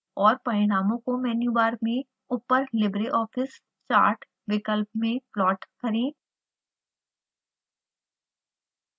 और परिणामों को मेन्यू बार में ऊपर libreoffice chart विकल्प में प्लॉट करें